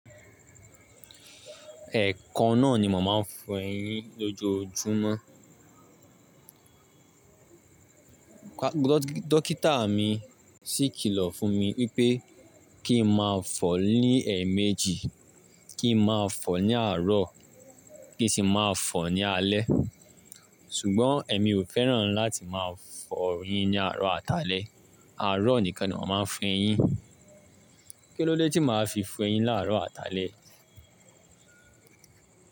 Ẹ̀kan ná ni mo máa n fọ eyín lójoójúmọ́. Dókítà mi sì kìlọ̀ fún mi wípé kí n máa fọ̀ ọ́ ní ẹ̀ẹ̀méjì, kí n máa fọ̀ ọ́ ní àárọ̀, kí n sì máa fọ̀ ọ́ ní alẹ́. Ṣùgbọ́n èmi ò fẹ́ràn láti máa fọ eyín ní àárọ̀ àtàlẹ́, àárọ̀ nìkan ni awa máa n fọ eyín. Kí ló dé tí màá fi fọ eyín láàrọ̀ àtàlẹ́?